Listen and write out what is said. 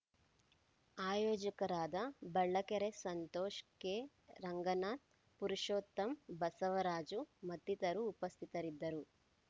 ಆಯೋಜಕರಾದ Ballakere Santosh K Ranganath Purushottama Basavaraju ಮತ್ತಿತರರು ಉಪಸ್ಥಿತರಿದ್ದರು